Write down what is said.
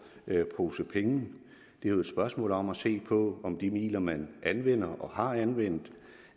pose penge det er et spørgsmål om at se på om de midler man anvender og har anvendt